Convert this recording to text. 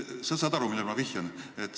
Sa saad aru, millele ma vihjan.